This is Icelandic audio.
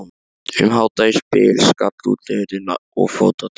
Um hádegisbil skall útihurðin og fótatak